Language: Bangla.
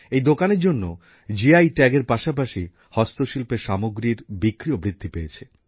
এই দোকানের জন্য জি আই ট্যাগ এর পাশাপাশি হস্তশিল্পের সামগ্রীর বিক্রিও বৃদ্ধি পেয়েছে